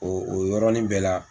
O o yɔrɔnin bɛɛ la.